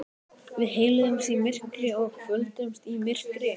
Við heilsuðumst í myrkri og kvöddumst í myrkri.